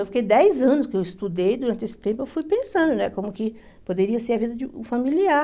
Eu fiquei dez anos que eu estudei, durante esse tempo eu fui pensando né como que poderia ser a vida de um familiar.